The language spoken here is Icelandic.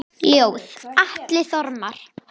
Ljóð: Atli Þormar